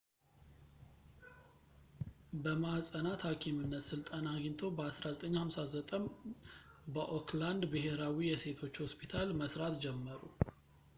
በማኅፀናት ሐኪምነት ሥልጠና አግኝተው በ 1959 በኦክላንድ ብሔራዊ የሴቶች ሆስፒታል መሥራት ጀመሩ